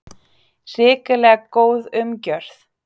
Hrikalega góð umgjörð